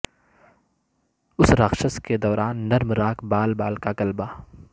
اس راکشس کے دوران نرم راک بال بال کا غلبہ